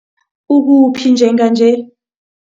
Ukuphi njenganje?